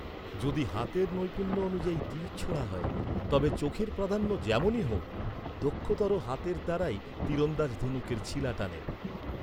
যদি হাতের নৈপুণ্য অনুযায়ী তীর ছোঁড়া হয়, তবে চোখের প্রাধান্য যেমনই হোক, দক্ষতর হাতের দ্বারাই তীরন্দাজ ধনুকের ছিলা টানেন।